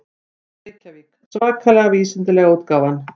Reykjavík: Svakalega vísindalega útgáfan.